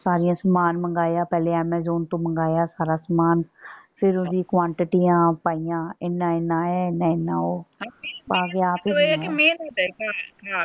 ਸਾਰੀਆਂ ਸਮਾਨ ਮੰਗਾਇਆ ਪਹਿਲੇ amazon ਤੋਂ ਮੰਗਾਇਆ ਸਾਰਾ ਸਮਾਨ। ਫੇਰ ਓਹਦੀ quantity ਆਪ ਪਾਈਆਂ। ਇਹਨਾਂ ਇਹਨਾਂ ਇਹ ਇਹਨਾਂ ਇਹਨਾਂ ਉਹ। ਪਾ ਕੇ ਆਪ ਹੀ ਬਣਾਇਆ।